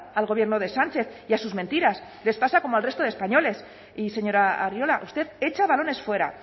al gobierno de sánchez y a sus mentiras les pasa como al resto de españoles y señora arriola usted echa balones fuera